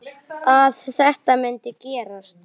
Gamanið gat gránað.